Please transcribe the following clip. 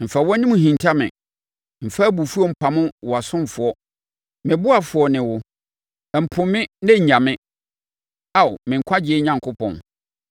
Mfa wʼanim nhinta me, mfa abufuo mpamo wo ɔsomfoɔ me ɔboafoɔ ne wo. Mpo me na nnya me, Ao me Nkwagyeɛ Onyankopɔn.